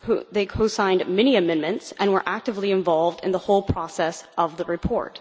who signed many amendments and were actively involved in the whole process of the report.